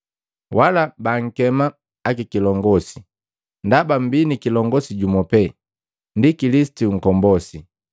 Wala baankema ‘Akilongosi,’ ndaba mmbii ni kilongosi jumu pee, ndi Kilisitu Nkombosi.